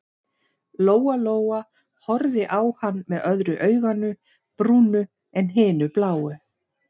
Lóa-Lóa horfði á hann með öðru auganu brúnu en hinu bláu.